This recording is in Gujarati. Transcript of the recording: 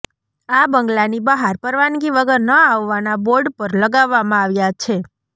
આ બંગલાની બહાર પરવાનગી વગર ન આવવાના બોર્ડ પણ લગાવવામાં આવ્યા છે